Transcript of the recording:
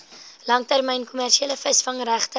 langtermyn kommersiële visvangregte